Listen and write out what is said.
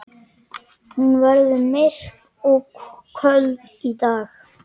Hún verður myrk og köld í dag.